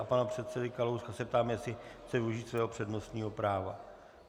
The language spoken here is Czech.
A pana předsedy Kalouska se ptám, jestli chce využít svého přednostního práva.